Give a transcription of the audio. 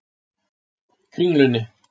Kringlunni